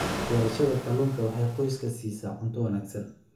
Beerashada kalluunka waxay qoyska siisaa cunto wanaagsan.